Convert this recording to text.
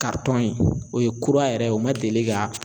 in o ye kura yɛrɛ ye o ma deli ka